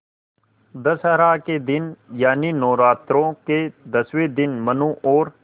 दशहरा के दिन यानि नौरात्रों के दसवें दिन मनु और